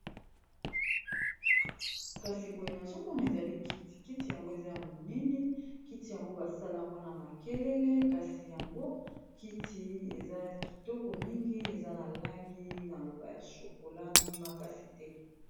Kasi boye nazomona ezali kiti kiti yango eza ya monene kiti yango basala mpona makelele kasi yango kiti eza na kitoko mingi eza na langi na loba ya shokola makasi te.